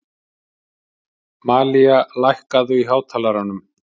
Malía, lækkaðu í hátalaranum.